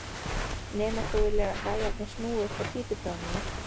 Nema þú viljir að gæjarnir snúi upp á títuprjónana!